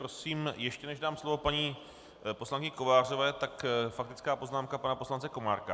Prosím, ještě než dám slovo paní poslankyni Kovářové, tak faktická poznámka pana poslance Komárka.